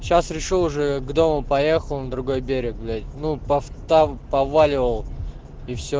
сейчас решил уже к дому поехал на другой берег блять ну повта повваливал и все